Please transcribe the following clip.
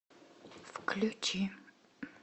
включи